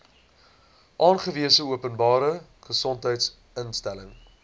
aangewese openbare gesondheidsinstelling